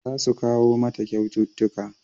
Za su kawo mata kyaututtuka